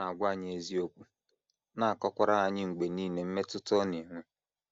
Ọ na - agwa anyị eziokwu, na - akọkwara anyị mgbe nile mmetụta ọ na - enwe.